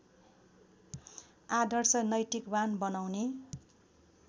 आदर्श नैतिकवान बनाउने